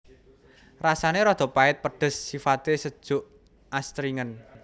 Rasane rada pait pedes sifate sejuk astringen